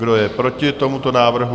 Kdo je proti tomuto návrhu?